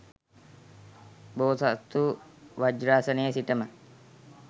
බෝසත්හු වජ්‍රාසනයේ සිටම